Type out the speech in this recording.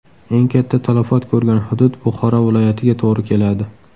Eng katta talafot ko‘rgan hudud Buxoro viloyatiga to‘g‘ri keladi.